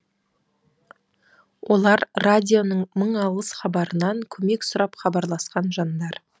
олар радионың мың алғыс хабарынан көмек сұрап хабарласқан жандар